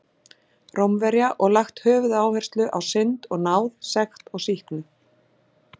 Rómverja og lagt höfuðáherslu á synd og náð, sekt og sýknu.